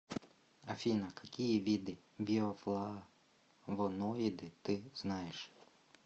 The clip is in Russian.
афина какие виды биофлавоноиды ты знаешь